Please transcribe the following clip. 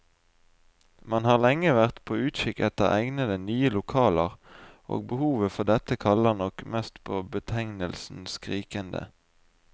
Man har lenge vært på utkikk etter egnede, nye lokaler, og behovet for dette kaller nok mest på betegnelsen skrikende.